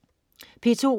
P2: